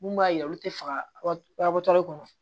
Mun b'a yira olu tɛ fagatɔ kɔnɔ